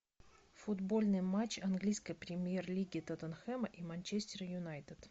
футбольный матч английской премьер лиги тоттенхэм и манчестер юнайтед